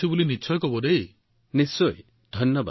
নিশ্চিতভাৱে ধন্যবাদ